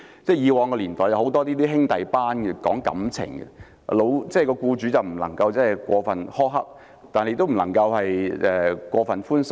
以往年代有很多兄弟班，講感情，僱主不能過分苛刻，但也不能過分寬鬆。